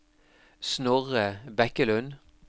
Snorre Bekkelund